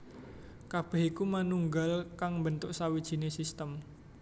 Kabeh iku manunggal kang mbentuk sawijine sistem